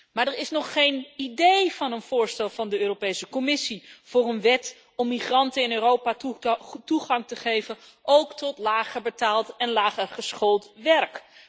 Maar er is nog geen idee van een voorstel van de Europese Commissie voor een wet om migranten in Europa toegang te geven, ook tot lager betaald en lager geschoold werk.